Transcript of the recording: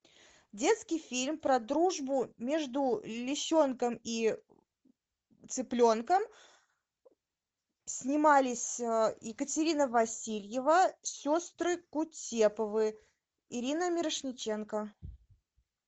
детский фильм про дружбу между лисенком и цыпленком снимались екатерина васильева сестры кутеповы ирина мирошниченко